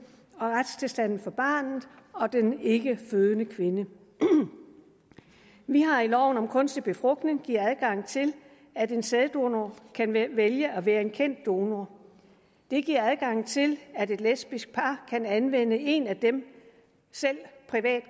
og forbedrer retstilstanden for barnet og den ikkefødende kvinde vi har i loven om kunstig befrugtning givet adgang til at en sæddonor kan vælge at være en kendt donor det giver adgang til at et lesbisk par kan anvende en af dem selv